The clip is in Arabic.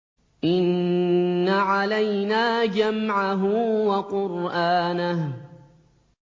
إِنَّ عَلَيْنَا جَمْعَهُ وَقُرْآنَهُ